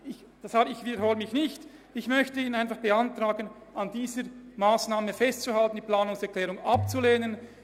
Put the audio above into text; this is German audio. Ich möchte Ihnen beantragen, an dieser Massnahme festzuhalten und die Planungserklärung abzulehnen.